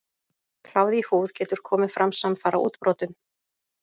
Kláði í húð getur komið fram samfara útbrotunum.